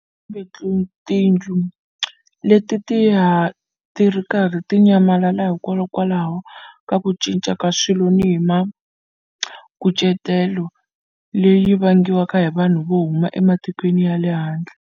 Kambe tindlu leti ti ya ti ri karhi ti nyamalala hikwalaho ka ku cinca ka swilo ni hi mikucetelo leyi vangiwaka hi vanhu vo huma ematikweni ya lehandle.